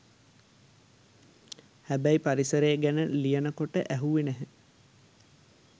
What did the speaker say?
හැබැයි පරිසරය ගැන ලියනකොට ඇහුවෙ නැහැ